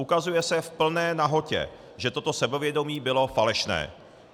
Ukazuje se v plné nahotě, že toto sebevědomí bylo falešné.